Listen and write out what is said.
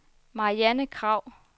Marianne Kragh